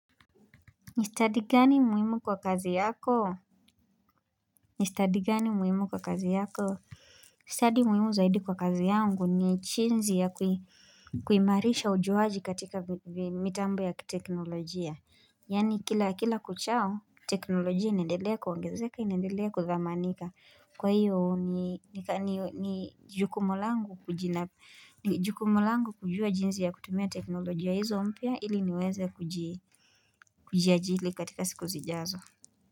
Nistadi gani muhimu kwa kazi yako? Nistadi gani muhimu kwa kazi yako? Nistadi muhimu zaidi kwa kazi yangu ni jinzi ya kuimarisha ujuwaji katika mitambo ya teknolojia. Yani kila kuchao, teknolojia inaendelea kuongezeka, inaendelea kudhamanika. Kwa hiyo ni jukumu langu kujua jinsi ya kutumia teknolojia hizo mpya ili niweze kujia jili katika siku zijazo.